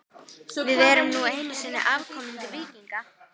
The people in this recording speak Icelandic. Við erum nú einu sinni afkomendur víkinga.